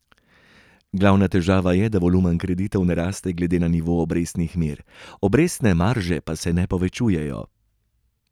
Glavna težava je, da volumen kreditov ne raste glede na nivo obrestnih mer, obrestne marže pa se ne povečujejo.